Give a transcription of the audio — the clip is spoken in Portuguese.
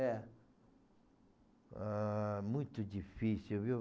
É. Ãh, muito difícil, viu?